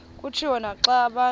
kutshiwo naxa abantu